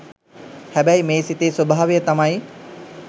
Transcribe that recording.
හැබැයි මේ සිතේ ස්වභාවය තමයි